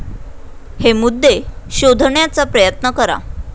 हे मुद्दे शोधण्याचा प्रयत्न करा